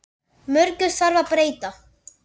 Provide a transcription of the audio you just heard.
Mörgu þarf að breyta.